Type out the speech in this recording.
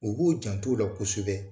O k'u jant'ola kosɛbɛ